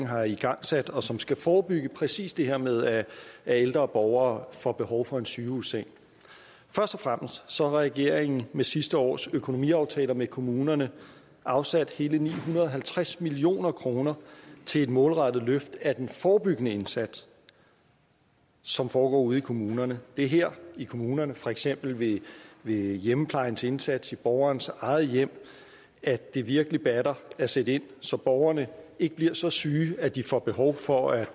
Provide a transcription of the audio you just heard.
har igangsat og som skal forebygge præcis det her med at ældre borgere får behov for en sygehusseng først og fremmest har regeringen med sidste års økonomiaftaler med kommunerne afsat hele ni hundrede og halvtreds million kroner til et målrettet løft af den forebyggende indsats som foregår ude i kommunerne det er her i kommunerne for eksempel ved ved hjemmeplejens indsats i borgerens eget hjem at det virkelig batter at sætte ind så borgerne ikke bliver så syge at de får behov for at